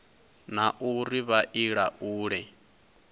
na uri vha i laule